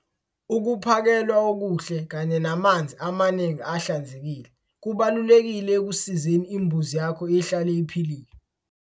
Ukuphakelwa okuhle kanye namanzi amaningi ahlanzekile kubalulekile ekusizeni imbuzi yakho ihlale iphilile.